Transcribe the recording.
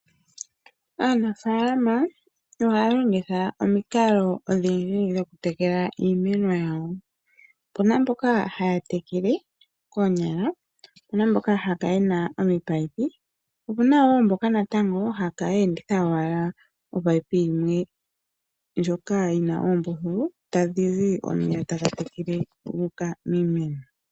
Aanafaalama ohaya longitha omikalo odhindji dhoku tekela iimeno yawo. Opuna mboka haya tekele koonyala, opuna mboka haya kala yena ominino, po opuna wo natango mboka haya kala ye enditha owala omunino gumwe ngoka guna oombululu tagu zi omeya gu uka miimeno.